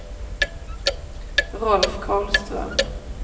Rolf Karlström